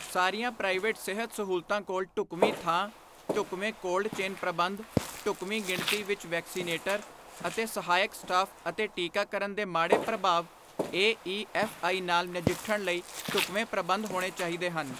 ਸਾਰੀਆਂ ਪ੍ਰਾਈਵੇਟ ਸਿਹਤ ਸਹੂਲਤਾਂ ਕੋਲ ਢੁਕਵੀਂ ਥਾਂ, ਢੁਕਵੇਂ ਕੋਲਡ ਚੇਨ ਪ੍ਰਬੰਧ, ਢੁਕਵੀਂ ਗਿਣਤੀ ਵਿਚ ਵੈਕਸੀਨੇਟਰ ਅਤੇ ਸਹਾਇਕ ਸਟਾਫ ਅਤੇ ਟੀਕਾਕਰਨ ਦੇ ਮਾੜੇ ਪ੍ਰਭਾਵ ਏਈਐਫਆਈ ਨਾਲ ਨਜਿੱਠਣ ਲਈ ਢੁਕਵੇਂ ਪ੍ਰਬੰਧ ਹੋਣੇ ਚਾਹੀਦੇ ਹਨ।